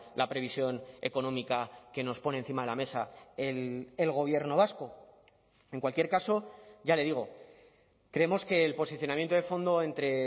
la previsión económica que nos pone encima de la mesa el gobierno vasco en cualquier caso ya le digo creemos que el posicionamiento de fondo entre